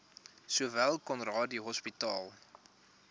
sowel conradie hospitaal